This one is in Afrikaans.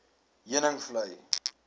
heuningvlei